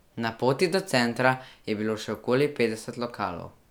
Na poti do centra je bilo še okoli petdeset lokalov.